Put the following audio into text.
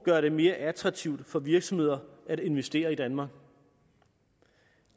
gør det mere attraktivt for virksomheder at investere i danmark